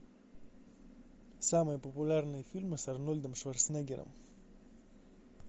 самые популярные фильмы с арнольдом шварценеггером